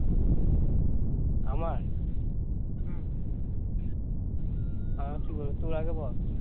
আমার আমার কি বলবো তোর আগে বল